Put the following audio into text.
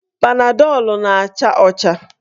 Panadọl na-acha ọcha.